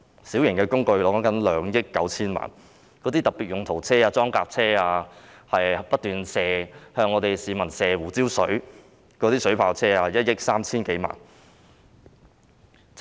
小型工具涉及2億 9,000 萬元；特別用途車、裝甲車、不斷向市民噴射胡椒水的水炮車，共1億 3,000 多萬元。